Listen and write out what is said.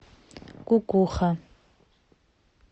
кукуха